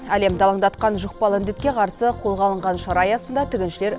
әлемді алаңдатқан жұқпалы індетке қарсы қолға алынған шара аясында тігіншілер